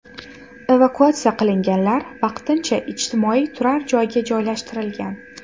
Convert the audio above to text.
Evakuatsiya qilinganlar vaqtincha ijtimoiy turar joyga joylashtirilgan.